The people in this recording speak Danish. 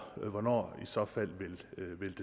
hvornår så fald